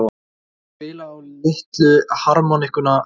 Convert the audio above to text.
Og spila á litlu harmónikkuna sína?